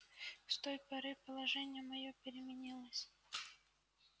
с той поры положение моё переменилось